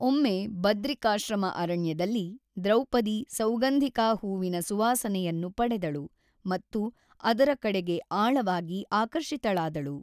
ಒಮ್ಮೆ ಬದ್ರಿಕಾಶ್ರಮ ಅರಣ್ಯದಲ್ಲಿ, ದ್ರೌಪದಿ ಸೌಗಾಂಧಿಕಾ ಹೂವಿನ ಸುವಾಸನೆಯನ್ನು ಪಡೆದಳು ಮತ್ತು ಅದರ ಕಡೆಗೆ ಆಳವಾಗಿ ಆಕರ್ಷಿತಳಾದಳು.